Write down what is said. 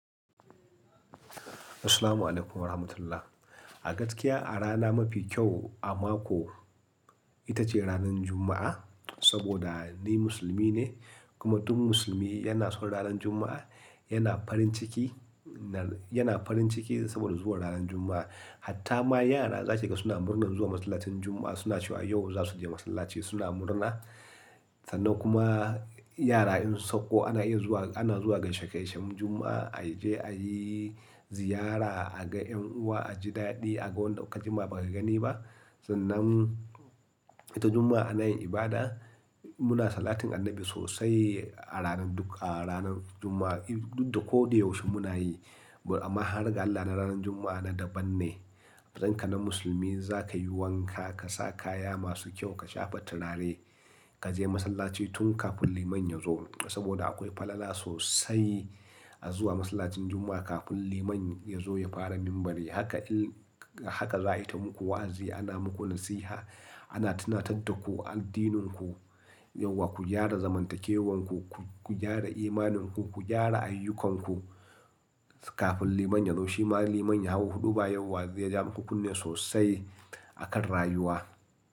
Assalamu alaikum wa rahmatullah. A gaskiya a rana mafi kyau a mako ita ce ranar Juma'a saboda ni musulmi ne kuma duk musulmi yana son ranar Juma'a, yana farin ciki, na-yana farin ciki saboda zuwa ranar Juma'a. Hatta ma yara za ki ga suna murna zuwa masallacin Juma'a, suna cewa yau za su je masallaci suna murna. Sannan kuma yara in su sauko ana iya zuwa, ana zuwa gaishe-gaishen Juma'a, a je a yi ziyara, a ga 'yan uwa, a ji daɗi, a ga wanda ka jima ba ka gani ba. Sannan ita Juma'a ana yin ibada, muna salatin annabi sosai a ranar duk a ranar Juma'a, duk da koɗayaushe muna yi. Amma har ga Allah na ranar Juma'a na daban ne. Amatsayin ka na musulmi za ka yi wanka, ka sa kaya masu kyau, ka shafa turare, ka je masallaci tun kafin liman ya zo saboda akwai falala sosai a zuwa masallacin Juma'a kafin liman ya zo ya fara minbari. Haka in, haka za ayi ta muku wa'azi, ana muku nasiha, ana tunatar da ku addininku, yauwa ku gyara zamantakewanku, ku, ku gyara imaninku, ku gyara ayyukanku kafin liman ya zo. Shi ma liman ya hau huɗuba yauwa zai ja muku kunne sosai akan rayuwa.